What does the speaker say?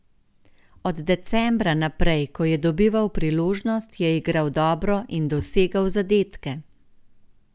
Od decembra naprej, ko je dobival priložnost, je igral dobro in dosegal zadetke.